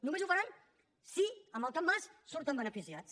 només ho faran si amb el capmàs en surten beneficiats